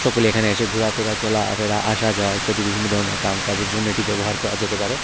এখানে এসে ঘুরা-ফিরা চলা ফেরা আসা যাওয়া ইত্যাদি বিভিন্ন ধরনের কাম কাজের জন্য এটি ব্যবহার করা যেতে পারে।